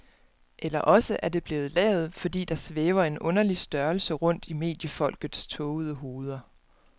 Eller også er det blevet lavet, fordi der svæver en underlig størrelse rundt i mediefolkets tågede hoveder.